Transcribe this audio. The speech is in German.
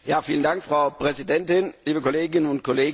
Frau Präsidentin, liebe Kolleginnen und Kollegen!